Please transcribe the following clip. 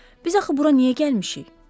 Bəs biz axı bura niyə gəlmişik?